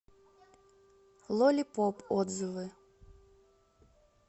лолипоп отзывы